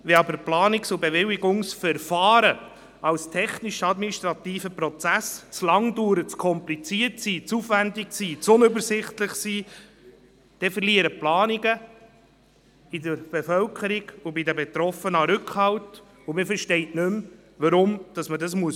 Wenn aber Planungs- und Bewilligungsverfahren als technisch-administrativer Prozess zu lange dauern, zu kompliziert, zu aufwendig und zu unübersichtlich sind, verlieren Planungen bei der Bevölkerung und bei den Betroffenen an Rückhalt, und man versteht nicht mehr, warum man es machen muss.